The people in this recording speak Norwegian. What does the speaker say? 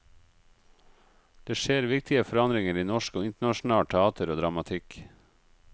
Det skjer viktige forandringer i norsk og internasjonalt teater og dramatikk.